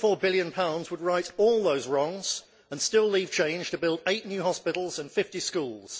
6.4 billion would right all those wrongs and still leave change to build eight new hospitals and 50 schools.